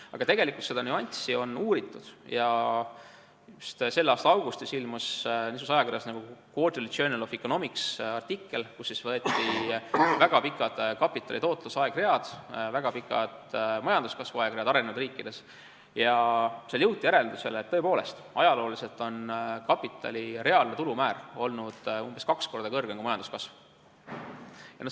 Aga tegelikult on seda nüanssi uuritud ja just selle aasta augustis ilmus niisuguses ajakirjas nagu The Quarterly Journal of Economics artikkel, kus võeti vaatluse alla väga pikad kapitali tootluse aegread, väga pikad majanduskasvu aegread arenenud riikides ja jõuti järeldusele, et tõepoolest, ajalooliselt on kapitali reaalne tulumäär olnud umbes kaks korda kõrgem kui majanduskasv.